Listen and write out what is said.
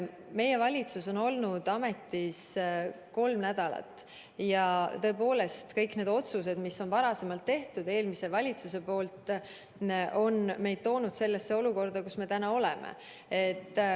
Meie valitsus on olnud ametis kolm nädalat ja tõepoolest, kõik need otsused, mis on teinud eelmine valitsus, on meid toonud sellesse olukorda, kus me täna oleme.